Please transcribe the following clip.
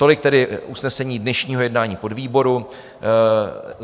Tolik tedy usnesení dnešního jednání podvýboru.